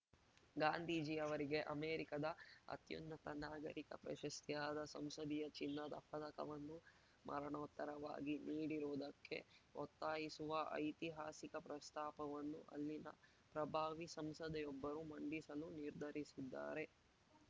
ಗಾಂಧೀಜಿಯವರಿಗೆ ಅಮೆರಿಕದ ಅತ್ಯುನ್ನತ ನಾಗರಿಕ ಪ್ರಶಸ್ತಿಯಾದ ಸಂಸದೀಯ ಚಿನ್ನದ ಪದಕವನ್ನು ಮರಣೋತ್ತರವಾಗಿ ನೀಡಿರುವುದಕ್ಕೆ ಒತ್ತಾಯಿಸುವ ಐತಿಹಾಸಿಕ ಪ್ರಸ್ತಾಪವನ್ನು ಅಲ್ಲಿನ ಪ್ರಭಾವಿ ಸಂಸದೆಯೊಬ್ಬರು ಮಂಡಿಸಲು ನಿರ್ಧರಿಸಿದ್ದಾರೆ